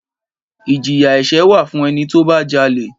Ìjíyà ẹsẹ wà fún ẹnitọbà jàlẹ́.